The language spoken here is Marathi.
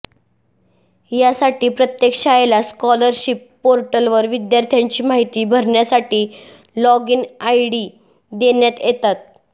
यासाठी प्रत्येक शाळेला स्कॉलरशिप पोर्टलवर विद्यार्थ्यांची माहिती भरण्यासाठी लॉगिन आयडी देण्यात येतात